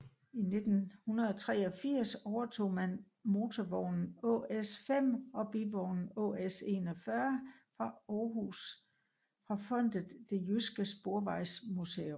I 1983 overtog man motorvognen ÅS 5 og bivognen ÅS 41 fra Aarhus fra fondet Det Jyske Sporvejsmuseum